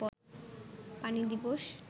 পানি দিবস